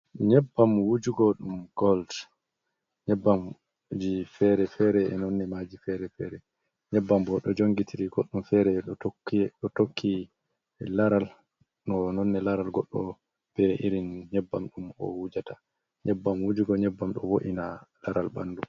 Nyebbam wujugo, ɗum gold. Nyebbam ji fere-fere e nonne maaji fere-fere, nyebbam bo ɗo jongitiri goɗɗom fere e ɗo tokki ɗo tokki laral, no nonne laral goɗɗo, bee irin nyebbam ɗum o wujata nyebbam wujugo, nyebbam ɗo vo’ina laral ɓandu.